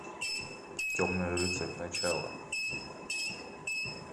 темный рыцарь начало